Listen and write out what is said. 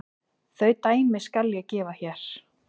Þau dæmi skal ég gefa hér.